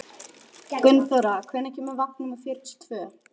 Gunnþóra, hvenær kemur vagn númer fjörutíu og tvö?